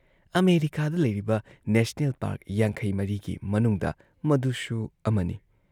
ꯑꯃꯦꯔꯤꯀꯥꯗ ꯂꯩꯔꯤꯕ national park ꯵꯴ ꯒꯤ ꯃꯅꯨꯡꯗ ꯃꯗꯨꯁꯨ ꯑꯃꯅꯤ ꯫